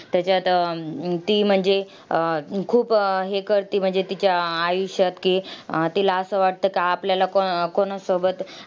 त्याच्यात अं ती म्हणजे अह खूप हे करते. म्हणजे तिच्या आयुष्यात की, अह तिला असं वाटतं का, आपल्याला कोणा कोणासोबत